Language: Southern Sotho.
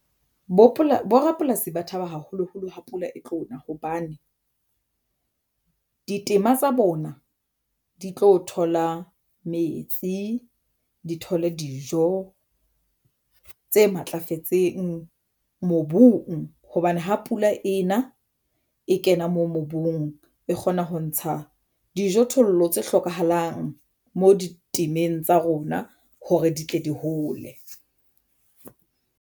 Borapolasi ba thaba haholoholo ha pula e tlo na hobane ditema tsa bona di tlo thola metsi, di thole dijo tse matlafetseng mobung hobane ha pula ena e kena moo mobung e kgona ho ntsha dijo thollo tse hlokahalang mo di temmeng tsa rona hore di tle di hole.